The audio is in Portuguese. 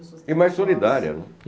E mais solidária, né.